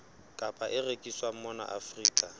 kapa e rekiswang mona afrika